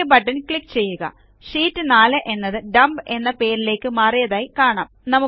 okay button click ചെയ്യുക sheet 4 എന്നത് dump എന്ന പേരിലേയ്ക്ക് മാറിയതായി കാണാം